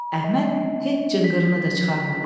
Əhməd heç cınqırını da çıxarmadı.